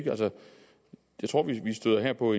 støder på